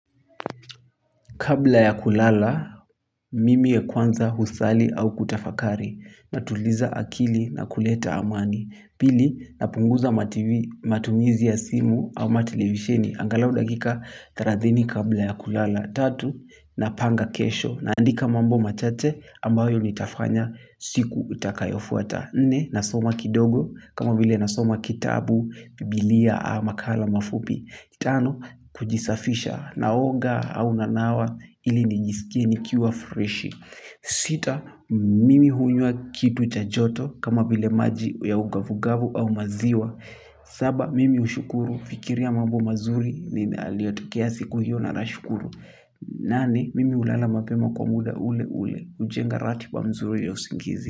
Kabla ya kulala, mimi ya kwanza usali au kutafakari. Natuliza akili na kuleta amani. Pili, napunguza matumizi ya simu ama televisheni. Angalau dakika thelathini kabla ya kulala. Tatu, napanga kesho. Naandika mambo machache ambayo nitafanya siku utakayofuata. Nne, nasoma kidogo. Kama vile nasoma kitabu, biblia a makala mafupi. Tano, kujisafisha naoga au nanawa ili nijisikie nikiwa fresh. Sita, mimi hunywa kitu cha joto kama vile maji ya ugavugavu au maziwa. Saba, mimi ushukuru fikiria mambo mazuri ni yaliotukea siku hiyo na nashukuru. Nane, mimi ulala mapema kwa muda ule ule, ujenga ratiba mzuri ya usingizi.